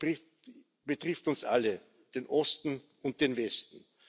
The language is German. Das Projekt betrifft uns alle, den Osten und den Westen.